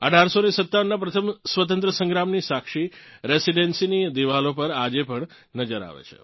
1857નાં પ્રથમ સ્વાતંત્રતા સંગ્રામની સાક્ષી રેસીડન્સીની દિવાલો પર આજે પણ નજર આવે છે